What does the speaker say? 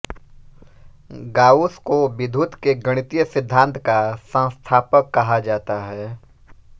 Gauss को विद्युत के गणितीय सिद्धांत का संस्थापक कहा जाता है